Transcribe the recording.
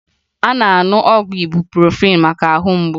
A na-aṅụ ọgwụ ịbuprofin maka ahụ mgbu